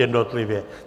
Jednotlivě.